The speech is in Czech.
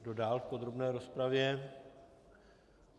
Kdo dál v podrobné rozpravě?